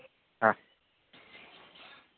હા